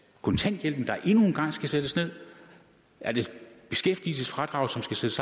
kontanthjælpen der endnu en gang skal sættes ned er det beskæftigelsesfradraget som skal sættes